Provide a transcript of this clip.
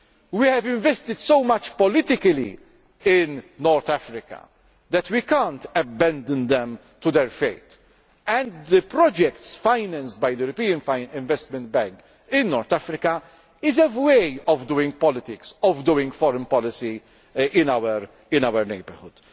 We have invested so much politically in North Africa that we cannot abandon them to their fate, and the projects financed by the European Investment Bank in North Africa are a way of doing politics, of doing foreign policy in our neighbourhood.